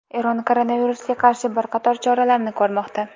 Eron koronavirusga qarshi bir qator choralarni ko‘rmoqda.